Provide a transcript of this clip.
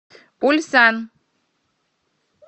ульсан